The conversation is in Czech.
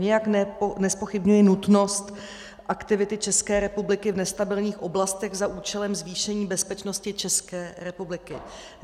Nijak nezpochybňuji nutnost aktivity České republiky v nestabilních oblastech za účelem zvýšení bezpečnosti České republiky.